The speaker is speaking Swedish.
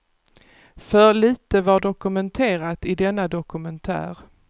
För lite var dokumenterat i denna dokumentär.